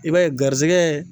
I b'a ye garizigɛ